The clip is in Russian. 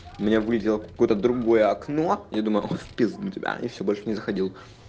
у меня вылетело какое-то другое окно я думаю в пизду тебя и все больше не заходил